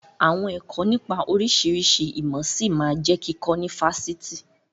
Àwọn ẹ̀kọ́ nipa oríṣiríṣi ìmọ̀ ṣí máa jẹ kíkọ ni Fásitì.